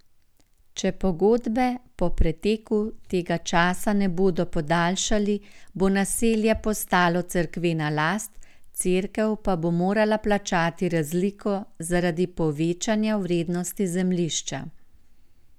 Če pogodbe po preteku tega časa ne bodo podaljšali, bo naselje postalo cerkvena last, cerkev pa bo morala plačati razliko zaradi povečanja vrednosti zemljišča.